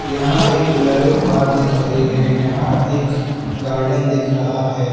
यहां एक Bolero car दिख रही है यहां एक गार्डन दिख रहा है।